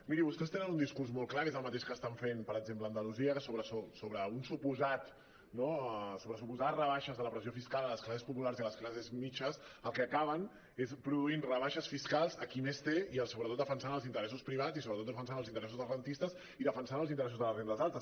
miri vostès tenen un discurs molt clar que és el mateix que estan fent per exem·ple a andalusia que sobre suposades rebaixes de la pressió fiscal a les classes po·pulars i a les classes mitjanes el que acaben és produint rebaixes fiscals a qui més té i sobretot defensant els interessos privats i sobretot defensant els interessos dels rendistes i defensant els interessos de les rendes altes